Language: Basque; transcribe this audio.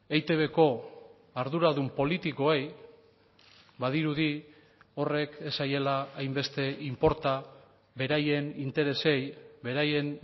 eitbko arduradun politikoei badirudi horrek ez zaiela hainbeste inporta beraien interesei beraien